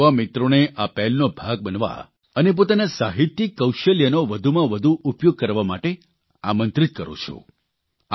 હું આપણા યુવા મિત્રોને આ પહેલનો ભાગ બનવા અને પોતાના સાહિત્યીક કૌશલ્યનો વધુમાં વધુ ઉપયોગ કરવા માટે આમંત્રિત કરૂં છું